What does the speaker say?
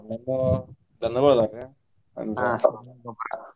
ಹ್ಮ್ ದನಗೊಳದ ಸಗಣಿ ಗೊಬ್ರಾ.